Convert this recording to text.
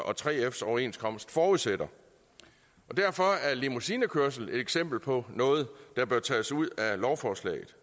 og 3fs overenskomst forudsætter derfor er limousinekørsel et eksempel på noget der bør tages ud af lovforslaget